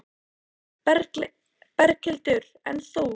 Berghildur: En þú?